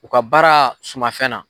U ka baara suma fɛn na